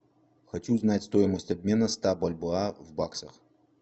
хочу знать стоимость обмена ста бальбоа в баксах